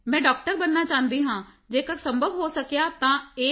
ਮੈਂ ਡਾਕਟਰ ਬਣਨਾ ਚਾਹੁੰਦੀ ਹਾਂ ਜੇਕਰ ਸੰਭਵ ਹੋ ਸਕਿਆ ਤਾਂ ਏ